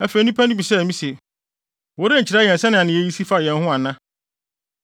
Afei nnipa no bisaa me se, “Worenkyerɛ yɛn sɛnea nneyɛe yi si fa yɛn ho ana?”